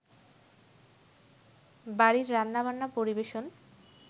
বাড়ির রান্নাবান্না, পরিবেশন,